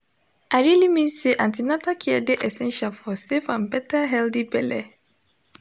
i really mean say an ten atal care de essential for safe and better healthy belle